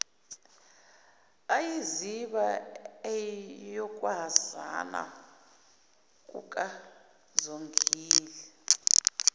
eyiziba eyokwazana kukazongile